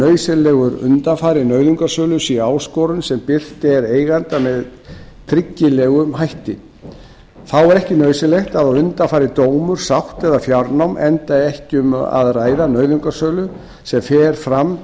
nauðsynlegur undanfari nauðungarsölu sé áskorun sem birt er eiganda með tryggilegum hætti þá er ekki nauðsynlegt að á undan fari dómur sátt eða fjárnám enda ekki um að ræða nauðungarsölu sem fer fram